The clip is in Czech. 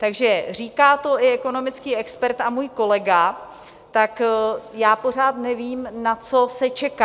Takže říká to i ekonomický expert a můj kolega, tak já pořád nevím, na co se čeká.